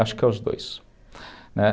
Acho que os dois, né.